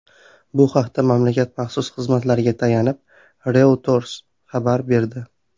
Bu haqda mamlakat maxsus xizmatlariga tayanib, Reuters xabar berdi .